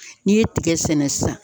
N'i ye tigɛ sɛnɛ sisan